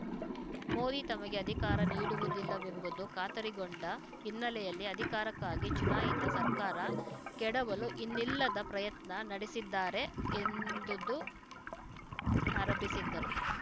ಮೋದಿ ತಮಗೆ ಅಧಿಕಾರ ನೀಡುವುದಿಲ್ಲವೆಂಬುದು ಖಾತರಿಗೊಂಡ ಹಿನ್ನೆಲೆಯಲ್ಲಿ ಅಧಿಕಾರಕ್ಕಾಗಿ ಚುನಾಯಿತ ಸರ್ಕಾರ ಕೆಡವಲು ಇನ್ನಿಲ್ಲದ ಪ್ರಯತ್ನ ನಡೆಸಿದ್ದಾರೆ ಎಂದುದು ಆರೋಪಿಸಿದ್ದರು